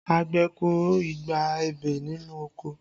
Àgbẹ̀ kọ igba ebè nínú oko